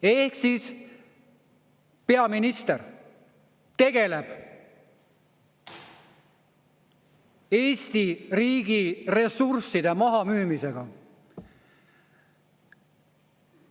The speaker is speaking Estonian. Ehk siis peaminister tegeleb Eesti riigi ressursside mahamüümisega.